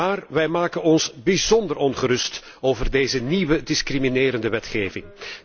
Maar wij maken ons bijzonder ongerust over deze nieuwe discriminerende wetgeving.